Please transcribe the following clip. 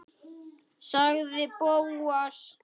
sagði Bóas.